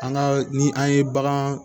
An ka ni an ye bagan